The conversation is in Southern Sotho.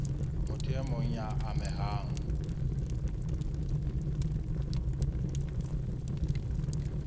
motho e mong ya amehang